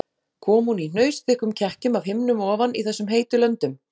Kom hún í hnausþykkum kekkjum af himnum ofan í þessum heitu löndum?